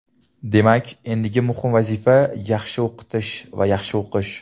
Demak, endigi muhim vazifa - yaxshi o‘qitish va yaxshi o‘qish.